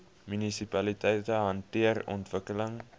munisipaliteite hanteer ontwikkeling